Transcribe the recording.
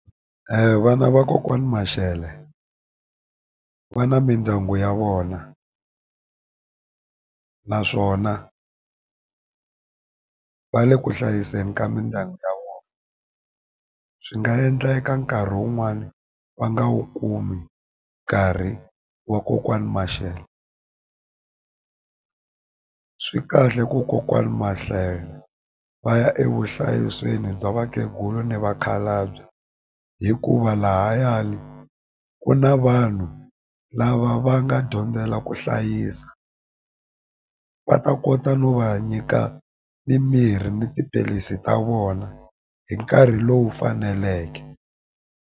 Vana va kokwani mashele va na mindyangu ya vona naswona va le ku hlayiseni ka mindyangu ya vona swi nga endleka nkarhi wun'wani va nga wu kumi nkarhi wa kokwani mashele swi kahle ku kokwana va ya evuhlayiselweni bya vakhegula ni vakhalabye hikuva lahayani ku na vanhu lava va nga dyondzela ku hlayisa va ta kota no va nyika mimirhi ni tiphilisi ta vona hi nkarhi lowu faneleke.